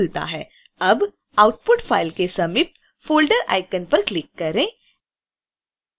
अब output file के समीप folder icon पर click करें